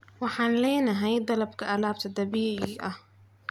Waxaan leenahay dalabka alaabta dabiiciga ah.